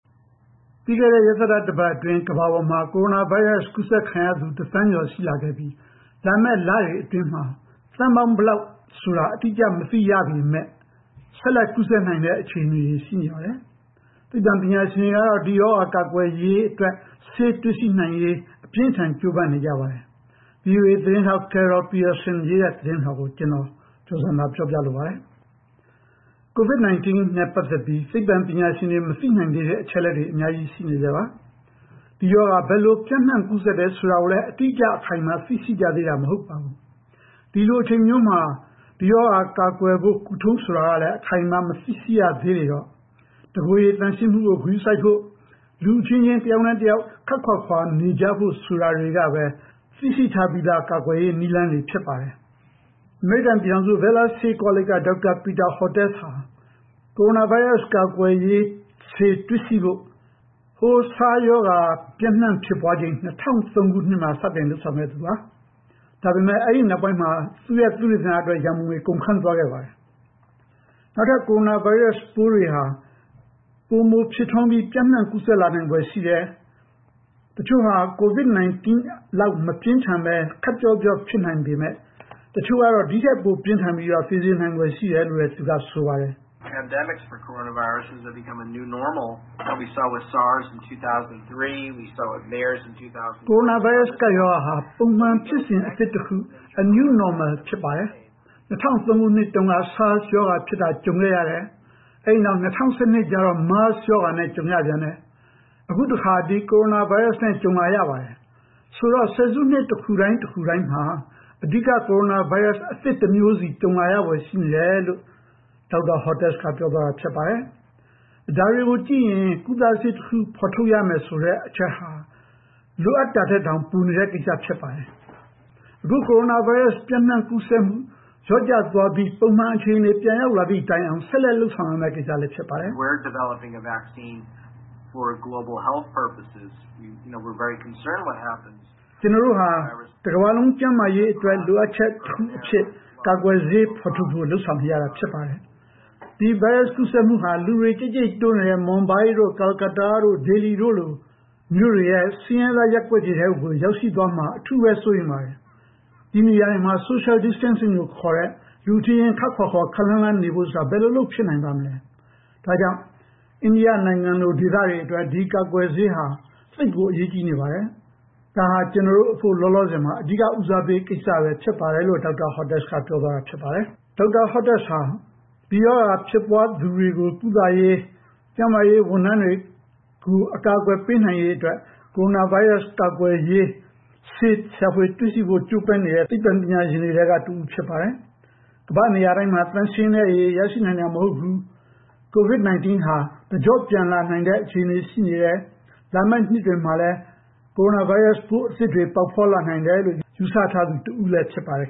ပြီးခဲ့တဲ့ ရက်သတ္တ တပတ်အတွင်း ကမ္ဘာပေါ်မှာ ကိုရိုနာဗိုင်းရပ်စ် ကူးစက်ခံရသူ တသန်းကျော် ရှိလာခဲ့ပြီး လာမယ့်လတွေအတွင်းမှာ သန်းပေါင်း ဘယ်လောက်ဆိုတာ အတိအကျ မသိရပေမယ့် ဆက်လက် ကူးစက်နိုင်တဲ့ အခြေအနေတွေ ရှိနေပါတယ်။ သိပ္ပံပညာရှင်တွေကတော့ ဒီရောဂါ ကာကွယ်ရေးအတွက် ဆေးတွေ့ရှိနိုင်ရေး အပြင်းအထန် ကြိုးပမ်းနေကြပါတယ်။ ဗွီအိုအေသတင်းထောက် Carol Pearson ပေးပို့ထားတဲ့ သတင်းလွှာကို ဦးကျော်ဇံသာ တင်ပြပေးထားပါတယ်။ COVID-19 နဲ့ ပတ်သက်ပြီး သိပ္ပံပညာရှင်တွေ မသိနိုင်သေးတဲ့ အချက်အလက်တွေ အများကြီး ရှိနေဆဲပါ။ ဒီရောဂါ ဘယ်လိုပျံ့နှံ့ ကူးစက်တယ် ဆိုတာကိုလည်း အတိအကျ၊ အခိုင်အမာ သိရှိကြသေးတာ မဟုတ်ပါဘူး။ ဒီလိုအချိန်မျိုးမှာ ဒီရောဂါကာကွယ်ဖို့ ကုထုံးဆိုတာကလည်း အခိုင်အမာ မသိရှိရသေးတော့ တကိုယ်ရည်သန့်ရှင်းမှုကို ဂရုစိုက်ဖို့၊ လူအချင်းချင်း တယောက်နဲ့တယောက် ခပ်ခွာခွာနေကြဖို့ ဆိုတာတွေကပဲ သိရှိထားပြီးသား ကာကွယ်ရေးနည်းလမ်းတွေ ဖြစ်ပါတယ်။ အမေရိကန်ပြည်ထောင်စု Baylor ဆေးကောလိပ်က ဒေါက်တာ Peter Hotez ဟာ ကိုရိုနာဗိုင်းရပ်စ် ကာကွယ်ဆေး တွေ့ရှိဖို့ SARS ရောဂါ ပျံ့နှံ့ဖြစ်ပွားချိန် ၂၀၀၃ ခုနှစ်မှာ စတင်လုပ်ဆောင်ခဲ့သူ ဖြစ်ပါတယ်။ ဒါပေမယ့် အဲဒီနောက်ပိုင်းမှာ သူ့ရဲ့ သုတေသနအတွက် ရန်ပုံငွေ ကုန်ခန်းသွားခဲ့ပါတယ်။ နောက်ထပ် ကိုရိုနာဗိုင်းရပ်စ်ပိုးတွေဟာ ပိုမိုဖြစ်ထွန်းပြီး ပျံ့နံှ့ကူးစက်လာနိုင်ဖွယ် ရှိတယ်၊ တချို့ဟာ COVID-19 လောက် မပြင်းထန်ဘဲ ခပ်ပျော့ပျော့ ဖြစ်နိုင်ပေမယ့် တချို့ကတော့ ဒီ့ထက်ပို ပြင်းထန်ပြီး သေစေနိုင်ဖွယ် ရှိတယ်လို့လည်း သူက ဆိုပါတယ်။ “ကိုရိုနာဗိုင်းရပ်စ် ကပ်ရောဂါဟာ ပုံမှန်ဖြစ်စဉ်အသစ်တခု A New Normal ဖြစ်ပါတယ်။ ၂၀၀၃ ခုနှစ်တုန်းက SARS ရောဂါဖြစ်တာ ကြုံခဲ့ရတယ်။ ဒီနောက် ၂၀၁၂ မှာ MERS ရောဂါနဲ့ ကြုံရပြန်တယ်။ အခုတခါ ဒီ ကိုရိုနာဗိုင်းရပ်စ်နဲ့ ကြုံလာရပါတယ်။ ဆိုတော့ ဆယ်စုနှစ်တခုတိုင်း တခုတိုင်းမှာ အဓိက ကိုရိုနာဗိုင်းရပ်စ် အသစ်တမျိုးစီ ကြုံလာရဖွယ် ရှိနေတယ်” လို့ ဒေါက်တာ Hotez က ပြောသွားပါတယ်။ ဒါတွေကိုကြည့်ရင် ကုသဆေးတခု ဖော်ထုတ်ရမယ် ဆိုတဲ့အချက်ဟာ လိုအပ်တာထက်တောင် ပိုနေတဲ့ကိစ္စ ဖြစ်ပါတယ်။ အခု ကိုရိုနာဗိုင်းရပ်စ် ပျံ့နှံ့ကူးစက်မှု လျော့ကျသွားပြီး ပုံမှန်အခြေအနေ ပြန်ရောက်လာသည့်တိုင်အောင် ဆက်လက်လုပ်ဆောင်ရမယ့် ကိစ္စလည်း ဖြစ်ပါတယ်။ “ကျနော်တို့ဟာ တကမ္ဘာလုံး ကျန်းမာရေးအတွက် လိုအပ်ချက်တခုအဖြစ် ကာကွယ်ဆေး ဖော်ထုတ်ဖို့ လုပ်ဆောင်နေရတာ ဖြစ်ပါတယ်။ ဒီဗိုင်းရပ်စ် ကူးစက်မှုဟာ လူတွေ ကြိတ်ကြိတ်တိုးနေတဲ့ မွမ်ဘိုင်းတို့ ကာလ်ကတ္တားတို့ ဒေလီတို့လို မြို့တွေရဲ့ ဆင်းရဲသား ရပ်ကွက်တွေထဲ ရောက်ရှိသွားမှာ အထူးပဲ စိုးရိမ်ပါတယ်။ ဒီနေရာတွေမှာ Social Distancing လို့ခေါ်တဲ့ လူအချင်းချင်း ခပ်ခွာခွာ ခပ်လှမ်းလှမ်း နေဖို့ဆိုတာ ဘယ်လိုလုပ်ဖြစ်နိုင်ပါ့မလဲ။ ဒါကြောင့် အိန္ဒိယနိုင်ငံလို ဒေသတွေအတွက် ဒီကာကွယ်ဆေးဟာ သိပ်ကို အရေးကြီးနေပါတယ်။ ဒါဟာ ကျနော်တို့အဖို့ လောလောဆယ်မှာ အဓိက ဦးစားပေးကိစ္စပဲ ဖြစ်ပါတယ်။” လို့ ဒေါက်တာ Hotez က ပြောသွားပါတယ်။ ဒေါက်တာ Hotez ဟာ ဒီရောဂါ ဖြစ်ပွားသူတွေကို ကုသရေး ကျန်းမာရေး ဝန်ထမ်းတွေကို အကာအကွယ် ပေးနိုင်ရေးအတွက် ကိုရိုနာဗိုင်းရပ်စ် ကာကွယ်ရေး ဆေးရှာဖွေတွေ့ရှိဖို့ ကြိုးပမ်းနေတဲ့ သိပ္ပံပညာရှင်တွေထဲက တဦးဖြစ်ပါတယ်။ ကမ္ဘာ့နေရာတိုင်းမှာ သန့်ရှင်းတဲ့ရေ ရရှိနိုင်တာ မဟုတ်ဘူး၊ COVID-19 ဟာ တကျော့ပြန်လာနိုင်တဲ့ အခြေအနေ ရှိနေတယ်၊ လာမယ့်နှစ်တွေမှာလည်း ကိုရိုနာဗိုင်းရပ်စ် ပိုးအသစ်တွေ ပေါက်ဖွားလာနိုင်တယ်လို့ ယူဆထားသူတဦးလည်း ဖြစ်ပါတယ်